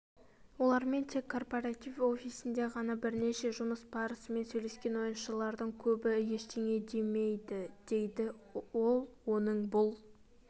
олармен тек корпоратив офисінде ғана бірнеше жұмыс барысымен сөйлескен ойыншылардың көбі ештеңе демейдідейді ол оның бұл